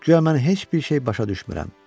Güya mən heç bir şey başa düşmürəm.